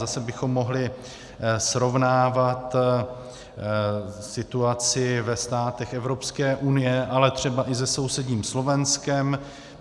Zase bychom mohli srovnávat situaci ve státech Evropské unie, ale třeba i se sousedním Slovenskem.